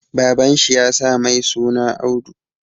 Baban shi ya sa mai suna Audu